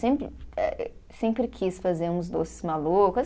Sempre eh, sempre quis fazer uns doces malucos.